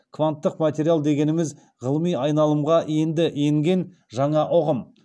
кванттық материал дегеніміз ғылыми айналымға енді енген жаңа ұғым